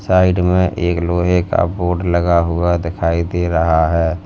Side में एक लोहे का बोर्ड लगा हुआ दिखाई दे रहा है।